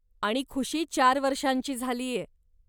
आणि खुशी चार वर्षांची झालीय.